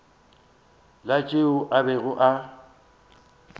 la tšeo a bego a